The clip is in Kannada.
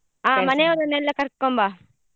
ಆ ಮನೆಯವ್ರನೆಲ್ಲ ಕರ್ಕೊಂಬಾ.